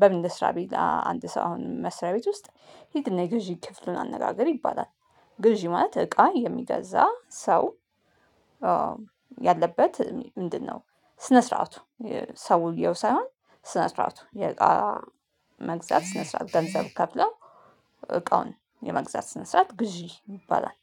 በምን ልስራ ቢል አንድ ሰው አሁን መስሪያ ቤት ውስጥ ሂድና የግዥ ክፍሉን አነጋገር ይባላል። ግዥ ማለት እቃ የሚገዛ ሰው ያለበት ምንድነው? ስነ ስርዓቱ ሰውየው ሳይሆን ስነ ስርዓቱ የእቃ መግዛት ስነ ስርዓት ገንዘብ ከፍለው እቃውን የመግዛት ስነ ስርዓት ግዢ ይባላል።